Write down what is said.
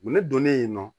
Ne donnen yen nɔ